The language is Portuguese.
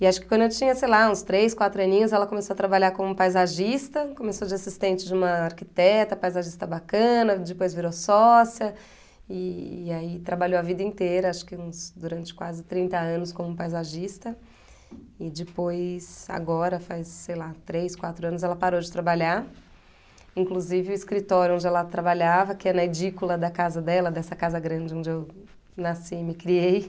E acho que quando eu tinha, sei lá, uns três, quatro aninhos, ela começou a trabalhar como paisagista, começou de assistente de uma arquiteta, paisagista bacana, depois virou sócia, e aí trabalhou a vida inteira, acho que uns durante quase trinta anos como paisagista, e depois, agora, faz, sei lá, três, quatro anos, ela parou de trabalhar, inclusive o escritório onde ela trabalhava, que é na edícula da casa dela, dessa casa grande onde eu eu nasci e me criei,